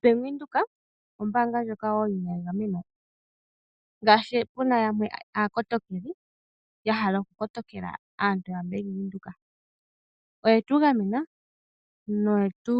Bank Windhoek ombaanga yimwe ndjoka wo yi na egameno. Ngaashi pu na aantu yamwe aakotokeli ya hala okukotokela aayakulwa yaBank Windhoek, oye tu gamena noye tu